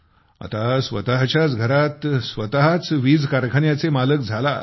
आता स्वतच्याच घरात स्वतच वीज कारखान्याचे मालक झालात